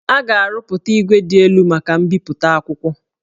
A ga-arụpụta igwe dị elu maka mbipụta akwụkwọ